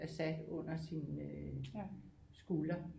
Assad under sin skulder